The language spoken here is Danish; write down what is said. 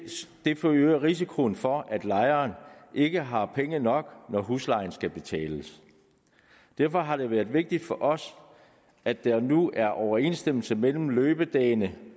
forøger risikoen for at lejeren ikke har penge nok når huslejen skal betales derfor har det været vigtigt for os at der nu er overensstemmelse mellem løbedagene